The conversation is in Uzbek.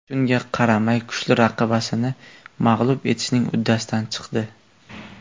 Shunga qaramay, kuchli raqibasini mag‘lub etishning uddasidan chiqdi.